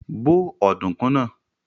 Bó ọ̀dùnkún náà!